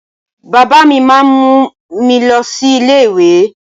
Baba mi máa mú mi lọ sí ilé ìwé.